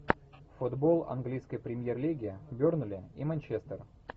футбол английской премьер лиги бернли и манчестер